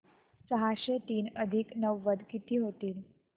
सहाशे तीन अधिक नव्वद किती होतील